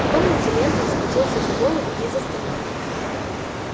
в комнате лентон схватился за голову и застонал